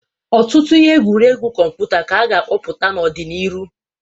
Ọtụtụ ihe egwuregwu kọmputa ka a ga-apụta n'ọ dị n'irụ.